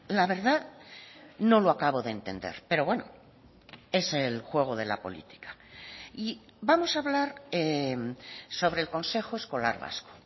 la verdad no lo acabo de entender pero bueno es el juego de la política y vamos a hablar sobre el consejo escolar vasco